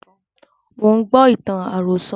Mo ń gbọ́ ìtàn àròsọ̀